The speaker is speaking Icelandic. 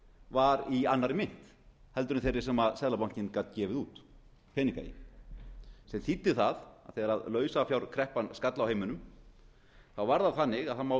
var í annarri mynt heldur en þeirri sem seðlabanka gat gefið út peningamynt sem þýddi það að þegar lausafjárkreppan skall á heiminum var það þannig að það má